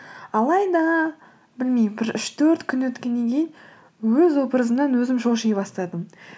алайда білмеймін бір үш төрт күн өткеннен кейін өз образымнан өзім шоши бастадым